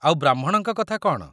ଆଉ ବ୍ରାହ୍ମଣଙ୍କ କଥା କ'ଣ?